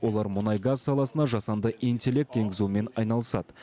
олар мұнай газ саласына жасанды интеллект енгізумен айналысады